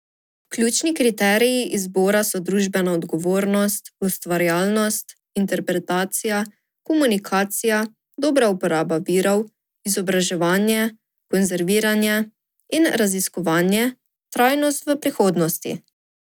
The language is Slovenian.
Ključni kriteriji izbora so družbena odgovornost, ustvarjalnost, interpretacija, komunikacija, dobra uporaba virov, izobraževanje, konzerviranje in raziskovanje, trajnostnost v prihodnosti.